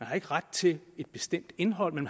har ikke ret til et bestemt indhold men